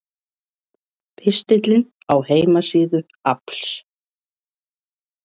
Pistillinn á heimasíðu AFLs